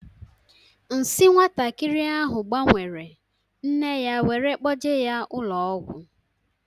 Nsi nwatakịrị ahu gbanwere, nne ya wéré kpoje ya ụlọ ọgwụ